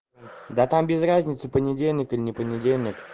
да там без разницы понедельника не понедельник